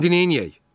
İndi neyləyək?